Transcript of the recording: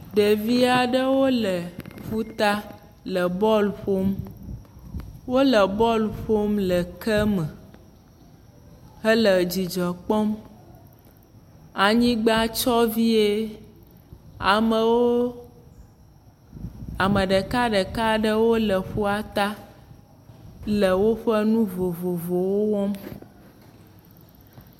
Ɖevi aɖewo le ƒuta le bɔɔl ƒom. Wole bɔɔl ƒom le keme hele dzidzɔ kpɔm. Anyigba tsyɔ vie. Amewo, Ame ɖekaɖeka aɖewo le ƒuata le woƒe nu vovovowo wɔm